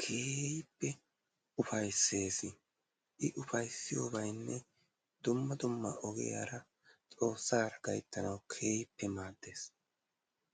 keehippe ufayissees. I ufayisiyoobayinne dumma dumma ogiyaara xoossaara gayittanaw keehippe maaddeesi.